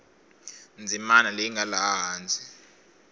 ndzimana leyi nga laha hansi